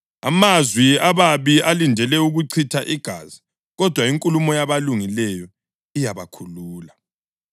Amazwi ababi alindele ukuchitha igazi, kodwa inkulumo yabalungileyo iyabakhulula.